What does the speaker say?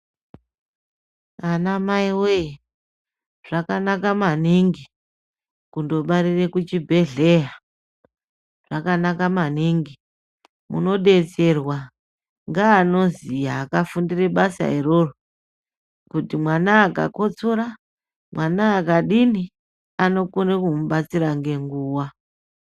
Anamai voye zvakanaka maningi kundobarire kuchibhedhleya. Zvakanaka maningi munobetserwa ngeanoziya akafundire basa iroro kuti mwana akakotora mwana akadini anokona kumubatsira nenguva.